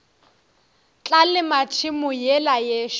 tla lema tšhemo yela yešo